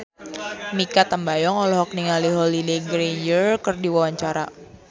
Mikha Tambayong olohok ningali Holliday Grainger keur diwawancara